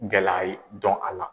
Gɛla yi dɔn a la.